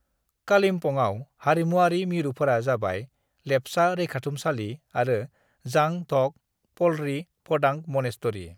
"कालिम्पङाव हारिमुआरि मिरुफोरा जाबाय, लेप्चा रैखाथुमसालि आरो जांग ढ'क पलरी फ'डांग मनेस्टरी।"